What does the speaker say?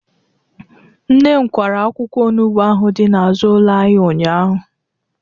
Nne m kwara akwụkwọ onugbu ahụ dị n'azụ ụlọ anyị ụnyahụ